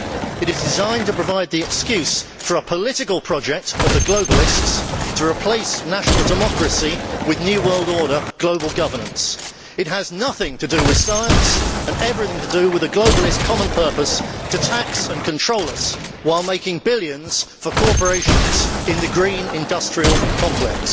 It is designed to provide the excuse for a political project of the globalists to replace national democracy with new world order global governance. It has nothing to do with science and everything to do with the globalist common purpose to tax and control us, while making billions for corporations in the green industrial complex.